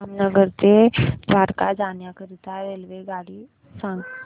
जामनगर ते द्वारका जाण्याकरीता रेल्वेगाडी सांग